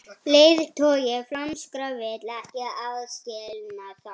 Leiðtogi flæmskra vill ekki aðskilnað